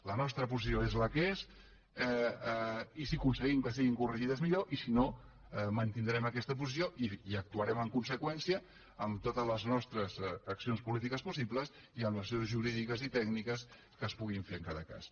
la nostra posició és la que és i si aconseguim que estiguin corregides millor i si no mantindrem aquesta posició i actuarem en conseqüència amb totes les nostres accions polítiques possibles i amb les accions jurídiques i tècniques que es puguin fer en cada cas